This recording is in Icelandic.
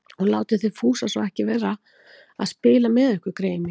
Og látið þið Fúsa svo ekki vera að spila með ykkur, greyin mín